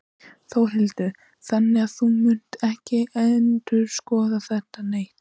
Þórhildur: Þannig að þú munt ekki endurskoða það neitt?